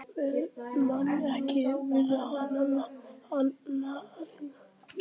Mun ekki viðurkenna annan forseta